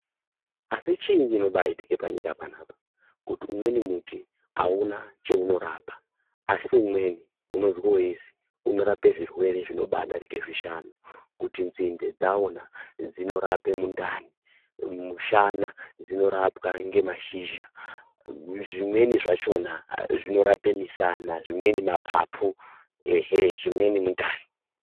Asi chii chini chinyanyoitika panyika panapa? Kuti umweni muti hauna cheunorapa, asi mumweni ,unorape zvirwere zvinobadarike zvishanu, kuti nzinde dzawo na, dzinorape mundani, mushana, dzinorape nemashizha, zvimweni zvachona zvinorape misana , zvimweni mapapu ehee zvimweni mundani.